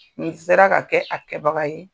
Nin sera ka kɛ a kɛbaga ye